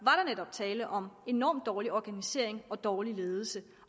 netop tale om enormt dårlig organisering og dårlig ledelse